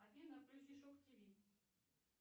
афина включи шок тв